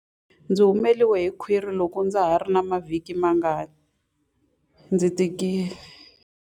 Ndzi humele hi khwiri loko ndza ha ri na mavhiki mangarimangani ndzi tikile.